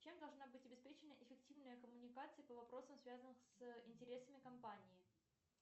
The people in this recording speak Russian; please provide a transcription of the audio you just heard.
чем должна быть обеспечена эффективная коммуникация по вопросам связанных с интересами компании